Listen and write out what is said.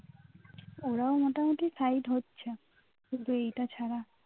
ওরাও মোটামুটি side হচ্ছে. কিন্তু এইটা ছাড়া